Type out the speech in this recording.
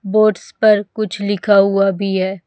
Boats पर कुछ लिखा हुवा भी हैं।